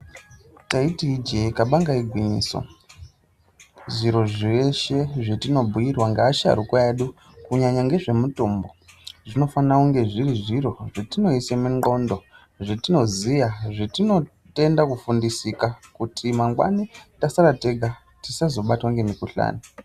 Taiti ijee kabanga igwinyiso zviro zveshe zvatinobhuirwa ngeasharukwa edu kunyanyanya ngezvemutombo zvinofana kunge zviri zviro zvatinoisa mundxondo zvetinoziya zvatinotenda kufundisika kuti tazosara tega tisazobatwa ngemikuhlani.